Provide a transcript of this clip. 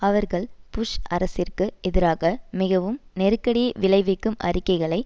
அவர்கள் புஷ் அரசிற்கு எதிராக மிகவும் நெருக்கடியை விளைவிக்கும் அறிக்கைகளை